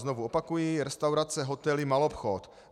Znovu opakuji: restaurace, hotely, maloobchod.